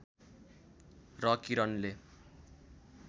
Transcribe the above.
र किरणले